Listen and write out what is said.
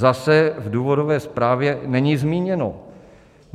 Zase v důvodové zprávě není zmíněno.